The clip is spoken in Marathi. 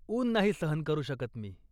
ऊन नाही सहन करू शकत मी.